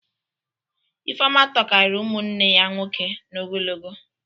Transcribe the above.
Ifeọma tokarịrị ụmụnne ya nwoke n'ogologo